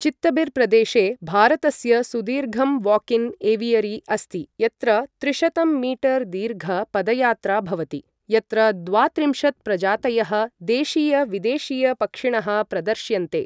चत्तबिर् प्रदेशे भारतस्य सुदीर्घम् वाकिन् एवियरि अस्ति, यत्र त्रिशतं मीटर् दीर्घ पदयात्रा भवति यत्र द्वात्रिंशत् प्रजातयः देशीय विदेशीय पक्षिणः प्रदर्श्यन्ते।